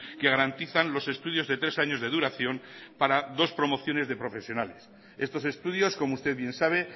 que garantizan los estudios de tres años de duración para dos promociones de profesionales estos estudios como usted bien sabe